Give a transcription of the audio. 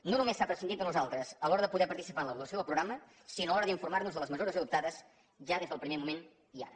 no només s’ha prescindit de nosaltres a l’hora de poder participar en l’avaluació del programa sinó a l’hora d’informar nos de les mesures adoptades ja des del primer moment i ara